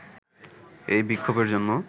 এই বিক্ষোভের জন্য